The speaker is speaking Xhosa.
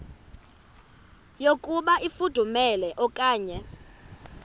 yokuba ifudumele okanye